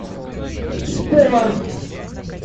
спорт